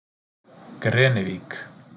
Grenivík